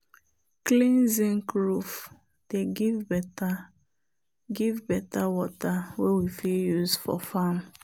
clean zinc roof dey give better give better water wey we fit use for farm.